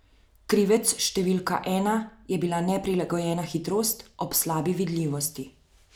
Krivec številka ena je bila neprilagojena hitrost ob slabi vidljivosti.